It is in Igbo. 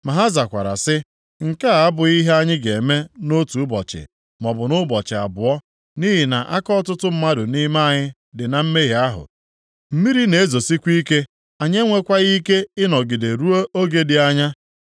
Ma ha zakwara sị, “Nke a abụghị ihe anyị ga-eme nʼotu ụbọchị maọbụ nʼụbọchị abụọ, nʼihi na aka ọtụtụ mmadụ nʼime anyị dị na mmehie ahụ. Mmiri na-ezosikwa ike, anyị enwekwaghị ike ịnọgide ruo oge dị anya.